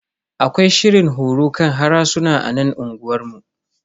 Akwai shirin horo kan harsuna a nan unguwanmu.